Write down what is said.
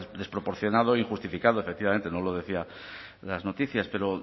desproporcionado o injustificado efectivamente no lo decían las noticias pero